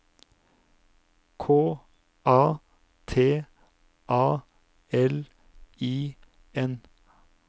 K A T A L I N